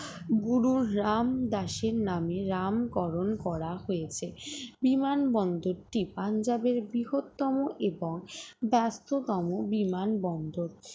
গুরু রামদাস এর নামে নামকরণ করা হয়েছে বিমানবন্দরটি পাঞ্জাবের বৃহত্তম এবং ব্যস্ততম বিমানবন্দর